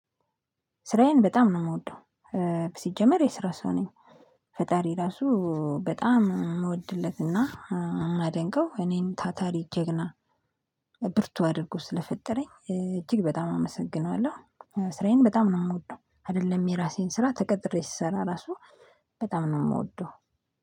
ስራዬን በጣም ነው የምወደው ሲጀመር የስራ ሰው ነኝ። ፈጣሪ ራሱ በጣም ምወድለትና ማደንቀው እኔን ታታሪ ጀግና ብርቱ አድርጎ ስለፈጠረኝ እጅግ በጣም አመሰግናለሁ። ስራዬን በጣም ነው የምወደው አይደለም የራሴን ስራ ተቀጥሬ ስሰራ ራሱ በጣም ነው የምወደው